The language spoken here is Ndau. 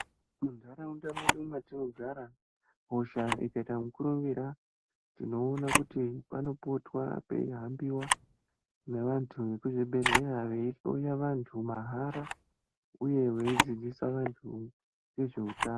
Muntaraunda mwedu mwatiniogara hosha ukaita mukurumbira tinoona panopotwa peihambiwa neantu ekuzvibhedhleya veihloya vantu mahara uye veidzidzisa vantu ngezveutano.